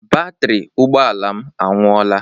Batrị ụgbọala m anwụoọla.